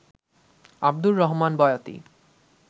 Abdur Rahman Boyati